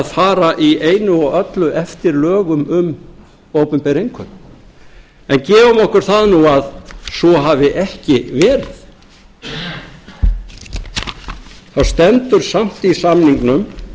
fara í einu og öllu eftir lögum um opinber innkaup en gefum okkur það nú að svo hafi ekki verið þá stendur samt í samningnum